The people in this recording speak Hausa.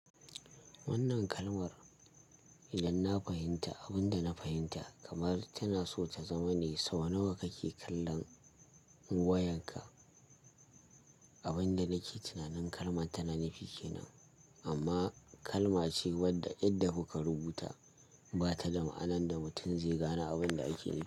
Wannan kalmar idan na fahimta abin da na fahimta kamar tana so ta zama ne sau nawa kake kallon wayanka? Abin da nake tunanin kalman ta na nufi kenan amma kalma ce wadda yadda ku ka rubuta ba ta da ma'anan da mutum zai gane abun da ake nufi.